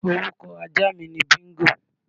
Orúkọ ajá mi ni Bíńgò.